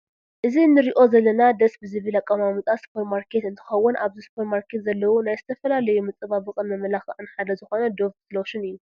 እዚ እንሪኦ ዘለና ደስ ብዝብ ኣቀማምጣ ስፖር ማርኬት እንትከውን ኣብዚ ስፖርማርኬት ዘለው ናይ ዝተፈላለዩ መፃባበቅን መመላክዕን ሓደ ዝኮነ ዶቭ ሎሽን እዩ።